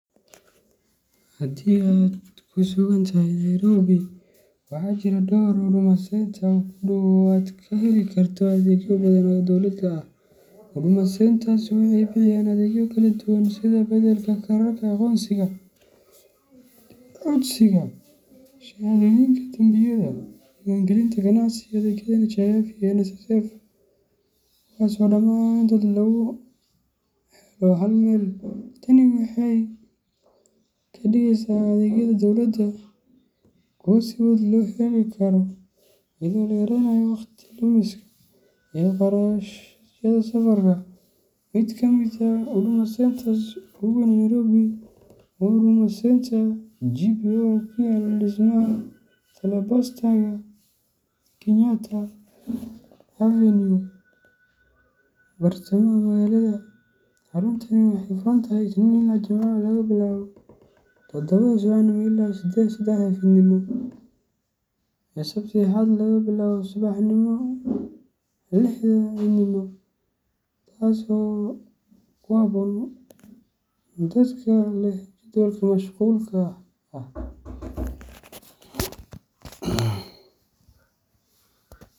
Haddii aad ku sugan tahay Nairobi, waxaa jira dhowr Huduma Centre oo kuu dhow oo aad ka heli karto adeegyo badan oo dowladda ah. Huduma Centres waxay bixiyaan adeegyo kala duwan sida beddelka kaararka aqoonsiga, codsiga shahaadooyinka dambiyada, diiwaangelinta ganacsiga, iyo adeegyada NHIF iyo NSSF, kuwaas oo dhammaantood lagu helo hal meel. Tani waxay ka dhigeysaa adeegyada dowladda kuwo si fudud loo heli karo, iyadoo la yareynayo waqti lumiska iyo kharashyada safarka. Mid ka mid ah Huduma Centres ugu weyn ee Nairobi waa Huduma Centre GPO, oo ku yaalla dhismaha Telepostaga ee Kenyatta Avenue, bartamaha magaalada. Xaruntani waxay furan tahay Isniin ilaa Jimce laga bilaabo todobada subaxnimo ilaa sedexda fiidnimo, iyo Sabti iyo Axad laga bilaabo labada subaxnimo ilaa lixda fiidnimo, taasoo ku habboon dadka leh jedwalka masqulka ah.